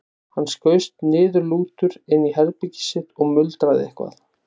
Hann skaust niðurlútur inn í herbergið sitt og muldraði eitthvað.